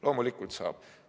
Loomulikult saab!